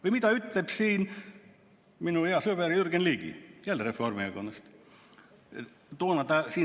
Või mida on öelnud minu hea sõber Jürgen Ligi, samuti Reformierakonnast?